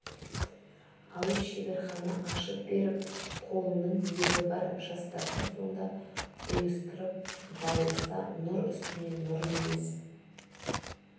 алып шеберхана ашып беріп қолының ебі бар жастарды сонда ұйыстырып баулыса нұр үстіне нұр емес